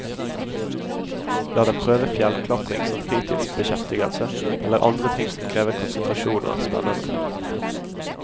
La dem prøve fjellklatring som fritidsbeskjeftigelse eller andre ting som krever konsentrasjon og er spennende.